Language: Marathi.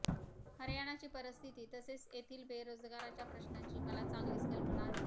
हरयाणाची परिस्थिती तसेच येथील बेरोजगाराच्या प्रश्नाची मला चांगली कल्पना आहे